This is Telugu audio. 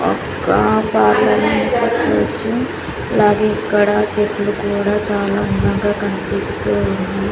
ఒక్క అలాగే ఇక్కడ చెట్లు కూడా చాలా అందంగా కన్పిస్తూ ఉన్నవి.